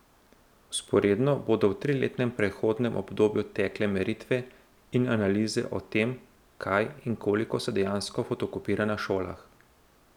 Vzporedno bodo v triletnem prehodnem obdobju tekle meritve in analize o tem, kaj in koliko se dejansko fotokopira na šolah.